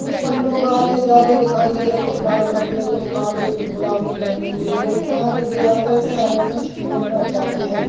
उस पर लोग आते जाते दिखाई दे रहे कुछ लाल कपड़े कुछ काले कुछ गुलाबी पहने हुए यहा से दे आते से आईने सिटी में पहोच जाते है।